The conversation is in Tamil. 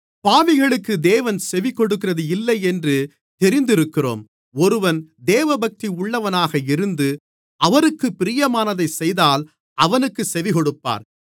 பாவிகளுக்கு தேவன் செவிகொடுக்கிறது இல்லை என்று தெரிந்திருக்கிறோம் ஒருவன் தேவபக்தி உள்ளவனாக இருந்து அவருக்கு பிரியமானதைச் செய்தால் அவனுக்குச் செவிகொடுப்பார்